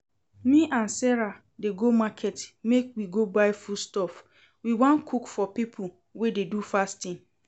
Me and Sarah dey go market make we go buy foodstuff, we wan cook for people wey dey do fasting